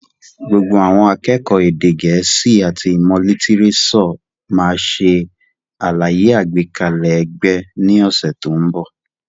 Gbogbo àwọn akẹ́kọ̀ọ́ èdè gẹ̀ẹ́sì àti ìmọ̀ lítírésọ̀ máa ṣe àlàyé àgbékalẹ̀ ẹgbẹ́ ní ọ̀sẹ̀ tó ń bọ̀.